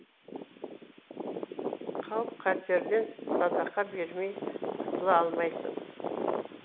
қауіп қатерден садақа бермей құтыла алмайсың